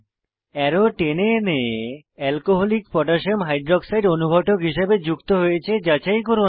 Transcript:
arrow টেনে এনে alcoholic potassium hydroxide alcকোহ অনুঘটক হিসাবে যুক্ত হয়েছে যাচাই করুন